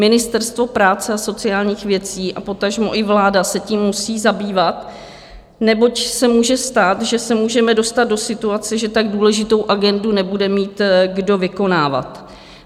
Ministerstvo práce a sociálních věcí a potažmo i vláda se tím musí zabývat, neboť se může stát, že se můžeme dostat do situace, že tak důležitou agendu nebude mít kdo vykonávat.